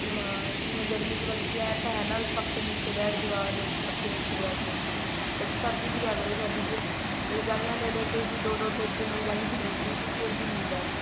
ਹਾਂ ਜਿਵੇਂ ਗਰਮੀ ਚ ਮਤਲਬ ਕੇ ਏਵੇਂ ਤਾਂ ਹੈ ਪੱਖੇ ਨੀਚੇ ਬੈਠ ਜੋ ਆਜੋ ਪੱਖੇ ਨੀਚੇ ਬੈਠ ਜੋ ਸਰਦੀ ਚ ਕਿਆ ਕਰੋ ਸਰਦੀ ਚ ਰਜਾਈਆਂ ਲੈ ਲੈਕੇ ਵੀ ਦੋ ਦੋ ਤਿੰਨ ਤਿੰਨ ਰਜਾਈਆਂ ਲੇਕੇ ਫ਼ੇਰ ਵੀ ਨੀ ਹੁੰਦਾ ਕੁੱਝ